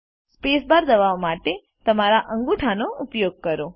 spacebar દબાવવા માટે તમારા અંગૂઠાનો ઉપયોગ કરો